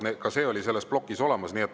Ka see oli selles plokis olemas.